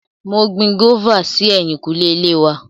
Mo gbin gófà sí ẹ̀yìnkùlé ilé wa.